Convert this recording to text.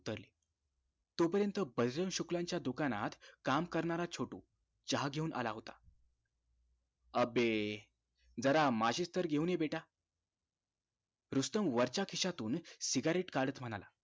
तोपर्यंत बैजू शुक्लाच्या दुकानात काम करणारा छोटू चहा घेऊन आला होता अबे जरा माचीस तर घेऊन या बेटा रुस्तम वरच्या खिश्यातुन cigarette काढत म्हणाला